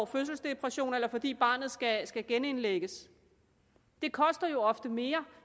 fødselsdepressioner eller fordi barnet skal skal genindlægges det koster jo ofte mere